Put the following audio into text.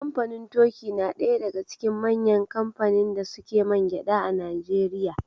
Kamfanin toki na ɗaya daga cikin manyan kamfanin da suke mangyaɗa a Najeriya.